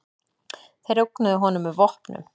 Þeir ógnuðu honum með vopnum.